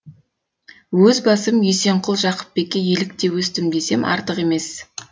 өз басым есенқұл жақыпбекке еліктем өстім десем артық емес